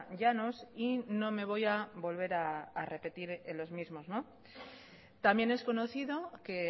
llanos y no me voy a volver a repetir en los mismos también es conocido que